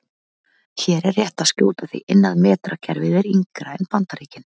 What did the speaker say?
Hér er rétt að skjóta því inn að metrakerfið er yngra en Bandaríkin.